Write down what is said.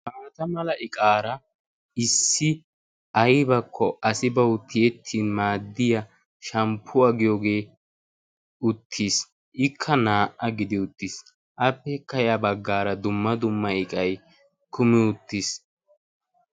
baata mala iqaara issi aybakko asi bawu tiyettin maaddiya shamppuwaa giyoogee uttiis ikka naa''a gidi uttiis appeeka ya baggaara dumma dumma iqay kumi uttiis